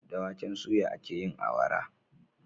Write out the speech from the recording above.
Da waken suya akeyin awara